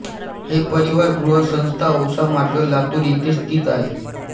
हे परिवार गृह संस्था औसा मार्ग लातुर इथे स्थित आहे